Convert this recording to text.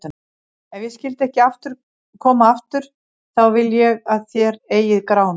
Ef ég skyldi ekki koma aftur, þá vil ég að þér eigið Grána.